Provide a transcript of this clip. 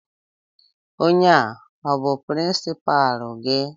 Ònye a ọ bú pirinsipaalu gị?